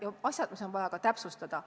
Ka on asju, mida on vaja täpsustada.